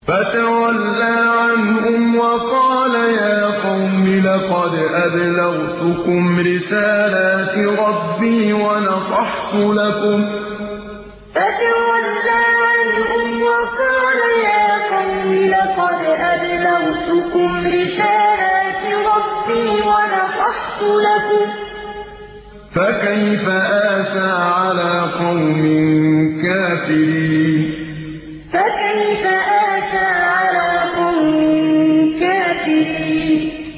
فَتَوَلَّىٰ عَنْهُمْ وَقَالَ يَا قَوْمِ لَقَدْ أَبْلَغْتُكُمْ رِسَالَاتِ رَبِّي وَنَصَحْتُ لَكُمْ ۖ فَكَيْفَ آسَىٰ عَلَىٰ قَوْمٍ كَافِرِينَ فَتَوَلَّىٰ عَنْهُمْ وَقَالَ يَا قَوْمِ لَقَدْ أَبْلَغْتُكُمْ رِسَالَاتِ رَبِّي وَنَصَحْتُ لَكُمْ ۖ فَكَيْفَ آسَىٰ عَلَىٰ قَوْمٍ كَافِرِينَ